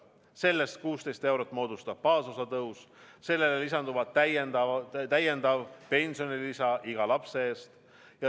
Sellest 16 eurot moodustab baasosa tõus, millele lisandub täiendav pensionilisa iga lapse eest.